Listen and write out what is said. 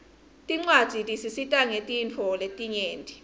tincwadzi tisisita ngetintfo letinyenti